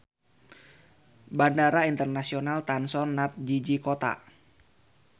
Bandara Internasional Tan Son Nhat jiji kota.